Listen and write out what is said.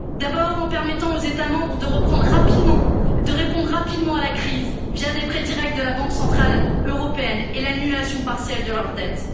D'abord, en permettant aux États membres de répondre rapidement à la crise via des prêts directs de la Banque centrale européenne et l'annulation partielle de leur dette.